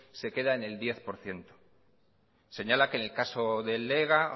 se queda en el diez por ciento señala que en el caso del ega